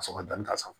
Ka sɔrɔ ka danni k'a